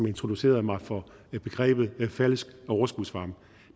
introducerede mig for begrebet falsk overskudsvarme